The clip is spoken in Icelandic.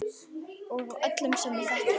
Og af öllum sem ég þekki.